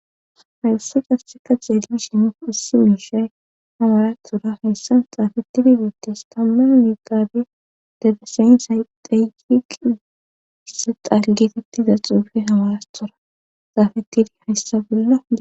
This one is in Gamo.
Hawussu casseka xeerimi shimu issi wiishay hamarathura heyssan xaafetidi biittes tamma miqaabi debeseynsay deyqiqissa xalgeetettiza xuufe hamarathora xaafetidi hayssa billo..